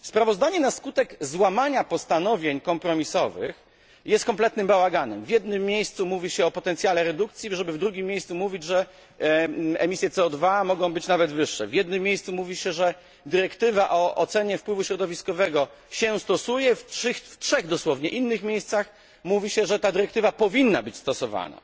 Sprawozdanie, na skutek złamania postanowień kompromisowych, jest kompletnym bałaganem w jednym miejscu mówi się o potencjale redukcji, żeby w drugim miejscu mówić, że emisje CO 2 mogą być nawet wyższe w jednym miejscu mówi się, że dyrektywa o ocenie wpływu środowiskowego jest stosowana, w trzech dosłownie innych miejscach mówi się, że ta dyrektywa powinna być stosowana.